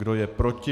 Kdo je proti?